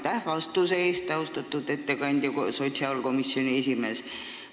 Aitäh vastuse eest, austatud sotsiaalkomisjoni esimees!